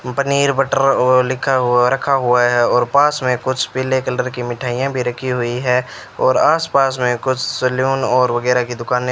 paneer butter और लिखा हुआ रखा हुआ है और पास में कुछ पीले कलर की मिठाइयां भी रखी हुई है और आस पास में कुछ सैलून और वगैरह की दुकानें --